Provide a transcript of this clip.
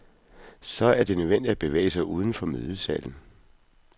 Så er det nødvendigt at bevæge sig uden for mødesalen.